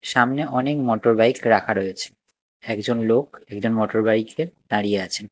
সামনে অনেক মোটরবাইক রাখা রয়েছে একজন লোক একজন মোটর বাইক -এ দাঁড়িয়ে আছেন।